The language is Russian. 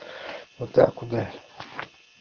вот так ударь